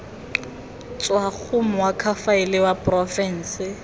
tswa go moakhaefe wa porofense